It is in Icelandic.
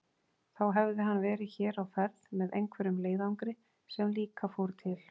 Þá hefði hann verið hér á ferð með einhverjum leiðangri sem líka fór til